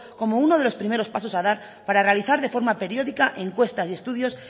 como uno de los primeros pasos a dar para realizar de una forma periódica encuestas y estudios